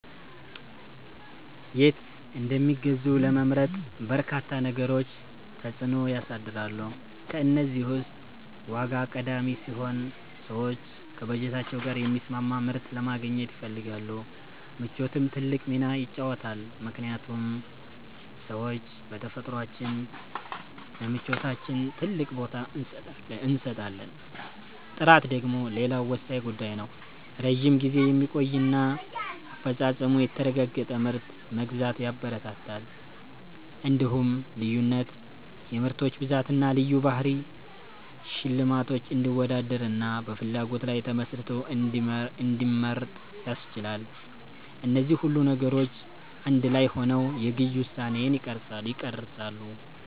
የት እንደሚገዙ ለመምረጥ በርካታ ነገሮች ተጽዕኖ ያሳድራሉ። ከእነዚህ ውስጥ ዋጋ ቀዳሚው ሲሆን፣ ሰዎች ከበጀታቸው ጋር የሚስማማ ምርት ለማግኘት ይፈልጋሉ። ምቾትም ትልቅ ሚና ይጫወታልምክንያቱም ሰዎች በተፈጥሯችን ለምቾታችን ትልቅ ቦታ እንሰጣለን። ጥራት ደግሞ ሌላው ወሳኝ ጉዳይ ነው፤ ረጅም ጊዜ የሚቆይና አፈጻጸሙ የተረጋገጠ ምርት መግዛት ያበረታታል። እንዲሁም ልዩነት (የምርቶች ብዛትና ልዩ ባህሪ) ሸማቹ እንዲወዳደርና በፍላጎቱ ላይ ተመስርቶ እንዲመርጥ ያስችላል። እነዚህ ሁሉ ነገሮች አንድ ላይ ሆነው የግዢ ውሳኔን ይቀርጻሉ።